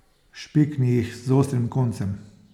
Špikni jih z ostrim koncem.